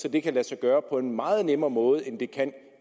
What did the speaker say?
at det kan lade sig gøre på en meget nemmere måde end det kan